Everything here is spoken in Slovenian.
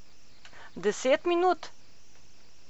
Deset minut?